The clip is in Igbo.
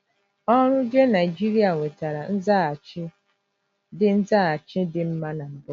Ọrụ JeNigeria nwetara nzaghachi dị nzaghachi dị mma na mbụ.